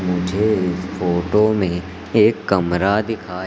मुझे इस फोटो में एक कमरा दिखाई--